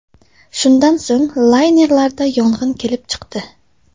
Shundan so‘ng laynerda yong‘in kelib chiqdi.